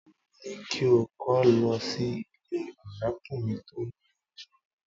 Mo ní kí o kó lọ sí ilé ọ̀rẹ́kùnrin tó ni oyún náà